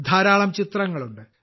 ധാരാളം ചിത്രങ്ങളുണ്ട്